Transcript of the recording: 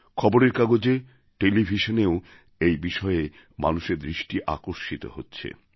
খবরের কাগজে টেলিভিশনেও এই বিষয়ে মানুষের দৃষ্টি আকর্ষিত হচ্ছে